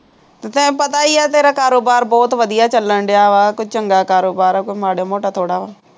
ਅਤੇ ਪਤਾ ਹੀ ਹੈ ਤੇਰਾ ਕਾਰੋਬਾਰ ਬਹੁਤ ਵਧੀਆ ਚੱਲਣ ਡਿਆ ਵਾ, ਕੋਈ ਚੰਗਾ ਕਾਰੋਬਾਰ ਹੈ, ਕੋਈ ਮਾੜਾ ਮੋਟਾ ਥੋੜ੍ਹਾ ਵਾ,